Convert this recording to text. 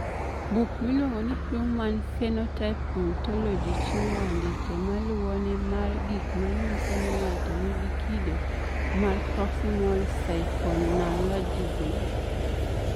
Buk miluongo ni Human Phenotype Ontology chiwo andike ma luwoni mar gik ma nyiso ni ng'ato nigi kido mar Proximal symphalangism.